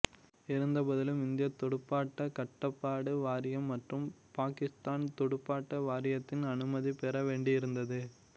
இருந்த போதிலும் இந்தியத் துடுப்பாட்டக் கட்டுப்பாடு வாரியம் மற்றும் பாக்கிஸ்தான் துடுப்பாட்ட வாரியத்தின் அனுமதி பெற வேண்டியிருந்தது